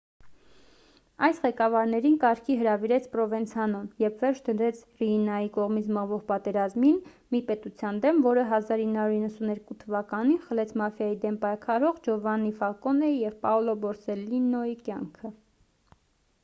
այս ղեկավարներին կարգի հրավիրեց պրովենցանոն երբ վերջ դրեց ռիինայի կողմից մղվող պատերազմին մի պետության դեմ որը 1992 թ խլեց մաֆիայի դեմ պայքարող ջովաննի ֆալկոնեի և պաոլո բորսելլինոյի կյանքը